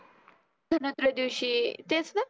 धनोत्रयदशी तेच ना?